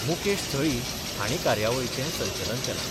मुकेश थळी हांणी कार्यावळीचे संचलन केलां.